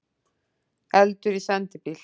Eldur í sendibíl